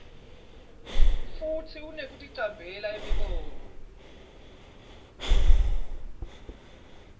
futsi kunekuticambela imibono